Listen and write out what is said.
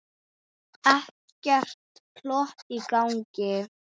Ekkert plott í gangi.